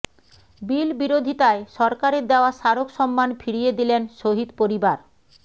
বিল বিরোধিতায় সরকারের দেওয়া স্মারক সম্মান ফিরিয়ে দিলেন শহিদ পরিবার